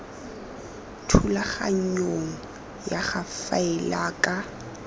thulaganyong ya go faela ka